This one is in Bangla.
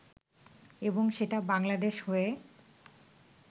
এবং সেটা বাংলাদেশ হয়ে